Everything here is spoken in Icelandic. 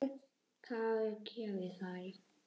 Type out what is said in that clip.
Hvað ég geri við þær?